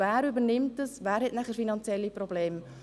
Wer hat dann die finanziellen Probleme?